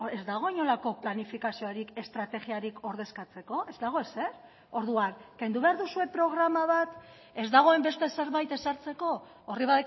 ez dago inolako planifikaziorik estrategiarik ordezkatzeko ez dago ezer orduan kendu behar duzue programa bat ez dagoen beste zerbait ezartzeko horri